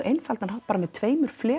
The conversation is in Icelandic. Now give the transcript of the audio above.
einfaldan hátt bara með tveimur